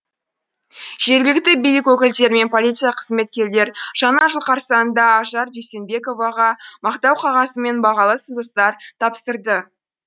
жергілікті билік өкілдері мен полиция қызметкерлері жаңа жыл қарсаңында ажар дүйсенбековаға мақтау қағазы мен бағалы сыйлықтар тапсырды